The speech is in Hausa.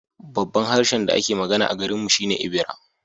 Babban harshen da ake magana a garinmu shi ne Ebira